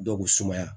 Dɔw bɛ sumaya